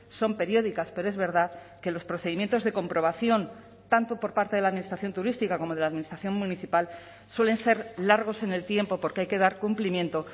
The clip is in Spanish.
son periódicas pero es verdad que los procedimientos de comprobación tanto por parte de la administración turística como de la administración municipal suelen ser largos en el tiempo porque hay que dar cumplimiento